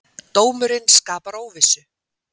Dómurinn skapar óvissu